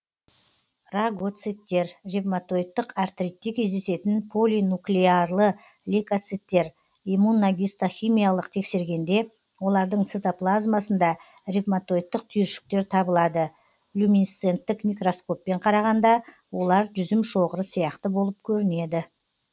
рагоциттер ревматоидтық артритте кездесетін полинуклеарлы лейкоциттер иммуногистохимиялық тексергенде олардың цитоплазмасында ревматоидтық түйіршіктер табылады люминесценттік микроскоппен қарағанда олар жүзім шоғыры сияқты болып көрінеді